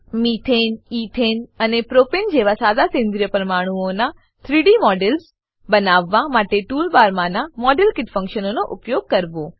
methane ethane અને propane જેવા સાદા સેન્દ્રીય પરમાણુઓનાં 3ડી મોડલ્સ 3ડી મોડેલો બનાવવા માટે ટૂલ બારમાનાં મોડેલકીટ ફંક્શનનો ઉપયોગ કરવો